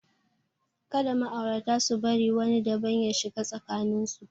Kada ma'aurata su bari wani daban ya shiga tsakanin su.